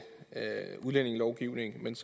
enkelt